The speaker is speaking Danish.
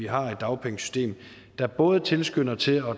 har et dagpengesystem der både tilskynder til at